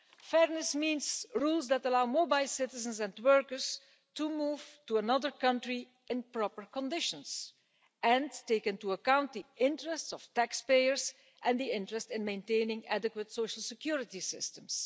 Fairness means rules that allow mobile citizens and workers to move to another country in proper conditions and take into account the interests of taxpayers and the interest in maintaining adequate social security systems.